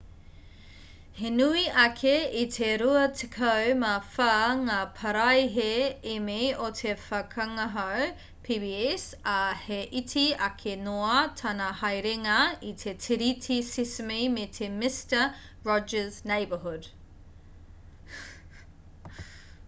he nui ake i te ruatekau mā whā ngā paraihe emmy o te whakangāhau pbs ā he iti ake noa tana haerenga i te tiriti sesame me te mister rogers' neighborhood